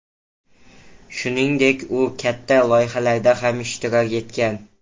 Shuningdek, u katta loyihalarda ham ishtirok etgan.